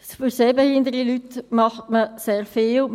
Für sehbehinderte Leute macht man sehr viel.